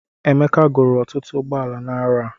Emeka goro ọtụtụ ụgbọala n'arọ a